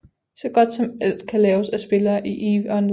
Så godt som alt kan laves af spillere i eve online